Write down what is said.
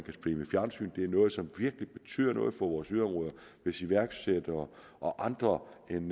noget som virkelig betyder noget for vores yderområder hvis iværksættere og andre end